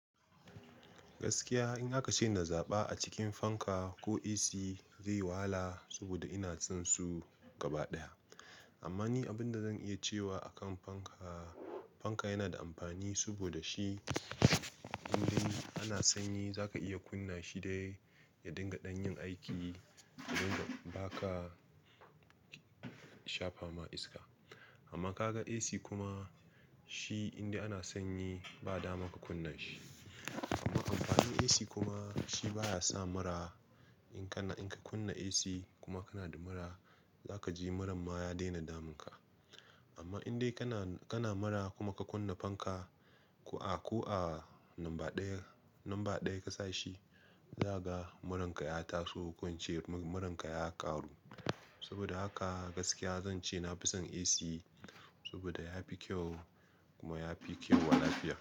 Gaskiya, in aka ce na zaɓa a cikin fanka ko AC zai wahala, saboda ina son su gaba ɗaya. Amma ni abin da zan iya cewa a kan fanka, fanka yana da amfani, saboda shi wurin ana sanyi za ka iya kunna shi dai ya dinga ɗanyin aiki, sai suka ba ka shafa ma iska. Amma ka ga AC kuma, shi inda ana sanyi ba dama ka kunna shi. Amma amfanin AC kuma shi baya sa mura. In kana-- in ka kunna AC, kuma kana da mura, za ka ji muran ma ya daina damunka. Amma indai kana, kana mura kuma ka kunna fanka, ko a, ko a lamba ɗaya, lamba ɗaya ka sa shi, za ka ga muran ka ya taso, ko wance muran ka ya ƙaru. Saboda haka gaskiya zan ce na fi son AC saboda ya fi kyau kuma ya fi kyau wa lafiya.